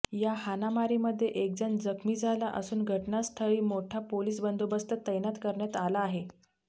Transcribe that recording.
या हाणामारीमध्ये एकजण जखमी झाला असून घटनास्थळी मोठा पोलीस बंदोबस्त तैनात करण्यात आला आहे